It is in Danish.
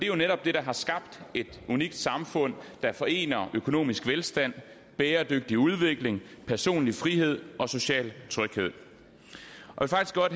jo netop det der har skabt et unikt samfund der forener økonomisk velstand bæredygtig udvikling personlig frihed og social tryghed